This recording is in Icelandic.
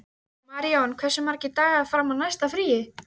Maríon, hversu margir dagar fram að næsta fríi?